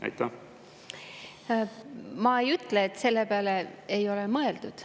Ma ei ütle, et selle peale ei ole mõeldud.